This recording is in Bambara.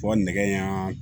Fɔ nɛgɛ in y'an